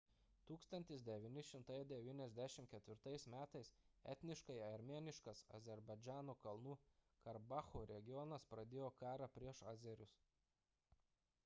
1994 m etniškai armėniškas azerbaidžano kalnų karabacho regionas pradėjo karą prieš azerius